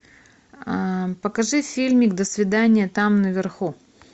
покажи фильмик до свидания там наверху